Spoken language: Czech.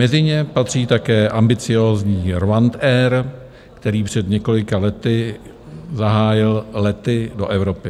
Mezi ně patří také ambiciózní RwandAir, který před několika lety zahájil lety do Evropy.